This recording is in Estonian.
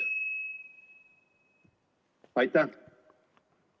Aitäh!